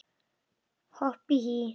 Hopp og hí